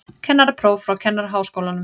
Kennarapróf frá Kennaraháskólanum